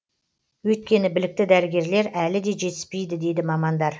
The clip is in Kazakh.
өйткені білікті дәрігерлер әлі де жетіспейді дейді мамандар